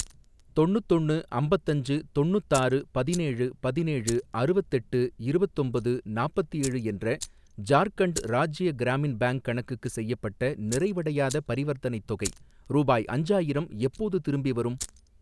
தொண்ணுத்தொன்னு அம்பத்தஞ்சு தொண்ணுத்தாறு பதினேழு பதினேழு அறுவத்தெட்டு இருவத்தொம்பது நாப்பத்தேழு என்ற ஜார்க்கண்ட் ராஜ்ய கிராமின் பேங்க் கணக்குக்கு செய்யப்பட்ட நிறைவடையாத பரிவர்த்தனைத் தொகை ரூபாய் அஞ்சாயிரம் எப்போது திரும்பிவரும்?